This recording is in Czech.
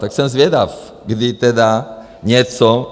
Tak jsem zvědav, kdy tedy něco...